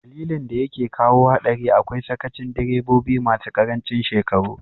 Dalilin da yake kawo hadari akwai sakacin direbobi masu karancin shekaru.